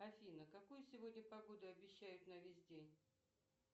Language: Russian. афина какую сегодня погоду обещают на весь день